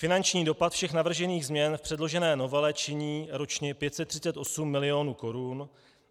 Finanční dopad všech navržených změn v předložené novele činí ročně 538 milionů korun.